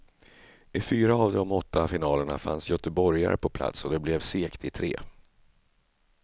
I fyra av de åtta finalerna fanns goteborgare pa plats och det blev seger i tre.